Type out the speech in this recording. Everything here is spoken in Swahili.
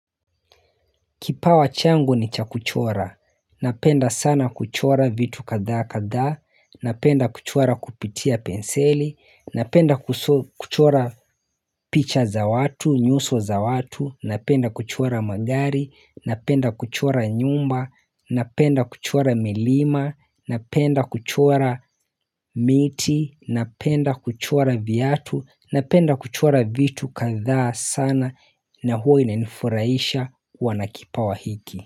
Kipawa changu ni cha kuchora. Napenda sana kuchora vitu katha katha. Napenda kuchora kupitia penseli. Napenda kuchora picha za watu, nyuso za watu. Napenda kuchora magari. Napenda kuchora nyumba. Napenda kuchora milima. Napenda kuchora miti. Napenda kuchora viatu. Napenda kuchora vitu katha sana. Na huo inaifuraisha wanakipawa hiki.